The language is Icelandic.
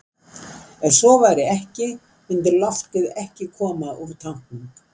Ef svo væri ekki myndi loftið ekki koma út úr tanknum.